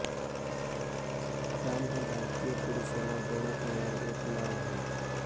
राम हे भारतीय पुरुषांना देण्यात येणारे एक नाव आहे